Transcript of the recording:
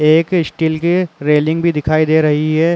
एक स्टील की रेलिंग भी दिखाई दे रही है।